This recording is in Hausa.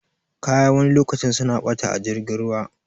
Kaya wani lokacin suna ɓata a jirgin ruwa